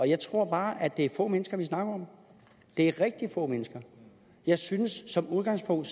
jeg tror bare at det er få mennesker vi snakker om det er rigtig få mennesker jeg synes at som udgangspunkt